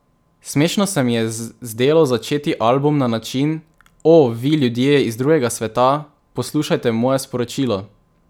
Smešno se mi je zdelo začeti album na način: 'O, vi ljudje iz drugega sveta, poslušajte moje sporočilo.